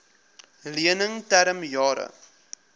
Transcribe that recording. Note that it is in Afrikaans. lening termyn jare